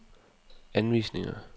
anvisninger